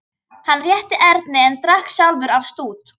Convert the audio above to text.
Hann rétti Erni en drakk sjálfur af stút.